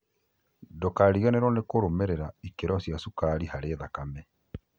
Ndũkariganĩrwo nĩ kũrũmĩrĩra ikĩro cia cukari harĩ thakame